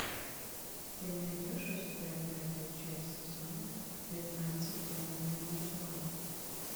ты найдешь у себя пятую часть сезона пятнадцать темные начала